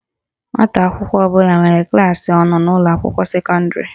Nwata akwụkwọ ọbụla nwere klaasị ọ nọ n'ụlọakwụkwọ sekọndịrị